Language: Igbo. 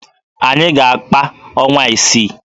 Anyị ga-akpa ọnwa isii